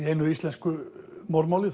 einu íslensku morðmáli